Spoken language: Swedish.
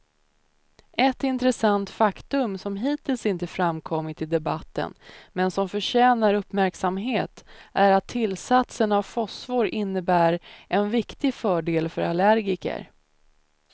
Ett intressant faktum som hittills inte framkommit i debatten men som förtjänar uppmärksamhet är att tillsatsen av fosfor innebär en viktig fördel för allergiker.